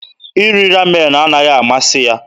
Iri Ramen anaghị amasị ya.